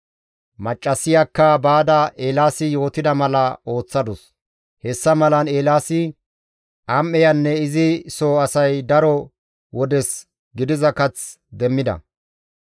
Maccassiyakka baada Eelaasi yootida mala ooththadus; hessa malan Eelaasi, am7eyanne izi soo asay daro wodes gidiza kath demmida.